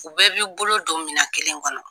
U bɛɛ b'i bolo don minan kelen kɔnɔ.